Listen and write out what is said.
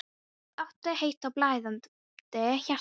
Það átti að heita: Blæðandi hjarta.